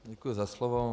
Děkuji za slovo.